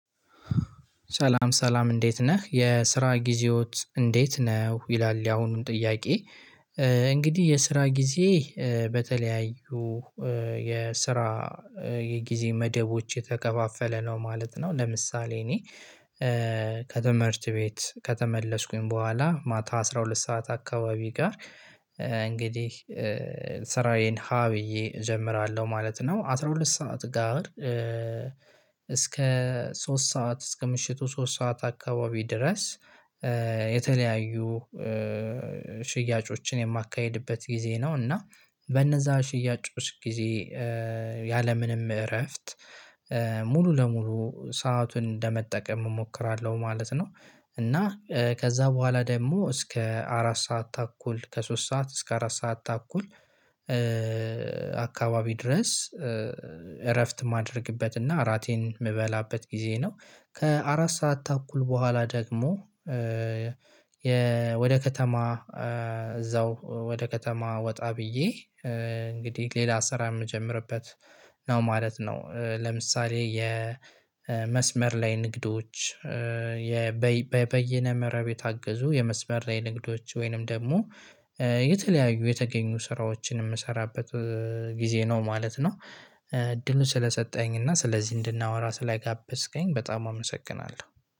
ሰላም ሰላም እንዴት ነህ የስራ ጊዜዎች እንዴት ነው ይላል ያሁኑን ጥያቄ? እንግዲህ የስራ ጊዜ በተለያዩ የስራ የጊዜ መደቦች የተከፋፈለ ነው ማለት ነው። ለምሳሌ እኔ ከትምህርት ቤት ከተመለስኩኝ በኋላ ማታ አስራ ሁለት ሰዓት አካባቢ ጋር እንግዲህ ስራዬን ሀ ብዬ እጀምራለሁ ማለት ነው። አስራ ሁለት ሰዓት ጋር እስከ ሶስት ሰዓት እስከ ምሽቱ ሶስት ሰዓት አካባቢ ድረስ የተለያዩ ሽያጮችን የማካሄድበት ጊዜ ነው። እና በነዛ ሽያጮች ጊዜ ያለምንም እረፍት ሙሉ ለሙሉ ሰአቱን እንደመጠቀም እሞክራለሁ ማለት ነው። እና ከዛ በኋላ ደግሞ እስከ አራት ሰዓት ተኩል ከሶስት ሰዓት እስከ አራት ሰዓት ተኩል አካባቢ ድረስ እረፍት ማድረግበትና እራቴን የምበላበት ጊዜ ነው። ከአራት ሰዓት ተኩል በኋላ ደግሞ ወደ ከተማ እዛው ወደ ከተማ ወጣ ብዬ እንግዲህ ሌላ ስራ የምጀምርበት ነው ማለት ነው። ለምሳሌ የመስመር ላይ ንግዶች በየነ መረብ የታገዙ የመስበር ላይ ንግዶች ወይንም ደግሞ የተለያዩ የተገኙ ስራዎችን የምሰራበት ጊዜ ነው ማለት ነው። እድሉን ስለሰጠኝ እና ስለዚህ እንድናወራ ስላጋበስከኝ በጣም አመሰግናለሁ